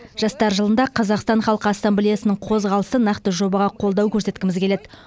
жастар жылында қазақстан халқы ассамблеясының қозғалысы нақты жобаға қолдау көрсеткіміз келеді